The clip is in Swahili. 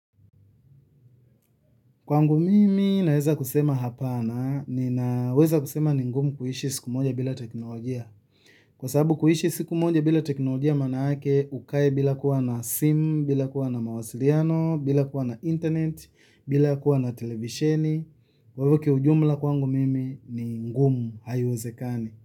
Kwangu mimi naweza kusema hapana, ninaweza kusema ni ngumu kuishi siku moja bila teknolojia. Kwa sababu kuishi siku moja bila teknolojia manake, ukae bila kuwa na simu, bila kuwa na mawasiliano, bila kuwa na internet, bila kuwa na televisheni. Kwa hivo kiujumla kwangu mimi ni ngumu haiwezekani.